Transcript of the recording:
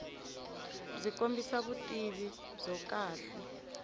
byi kombisa vutivi byo kahle